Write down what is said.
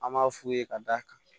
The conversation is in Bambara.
An b'a f'u ye ka d'a kan